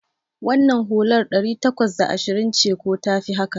Wannan hular ɗari takwas da ashirin ce ko tafi haka?